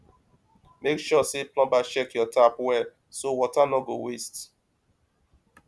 make sure say plumber check your tap well so water no go waste